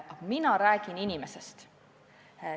Aga mina räägin inimesest.